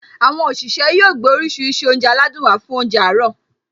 Àwọn òṣìṣẹ́ yóò gbé oríṣiríṣi oúnjẹ aládùn wá fún óúnjẹ àárọ̀